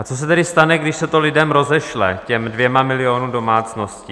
A co se tedy stane, když se to lidem rozešle, těm dvěma milionům domácností?